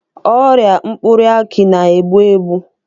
Ọrịa mkpụrụ akị na-egbu egbu.